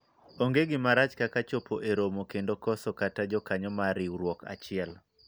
onge gima rach kaka chopo e romo kendo koso kata jakanyo mar riwruok achiel